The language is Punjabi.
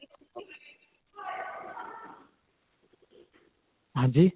ਹਾਂਜੀ?